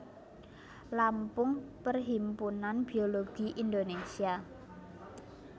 Lampung Perhimpunan Biologi Indonesia